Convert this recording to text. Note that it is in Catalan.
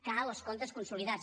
cal els comptes consolidats